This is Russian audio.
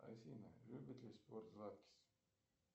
афина любит ли спорт златкис